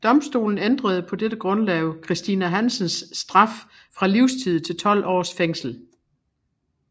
Domstolen ændrede på dette grundlag Christina Hansens straf fra livstid til 12 års fængsel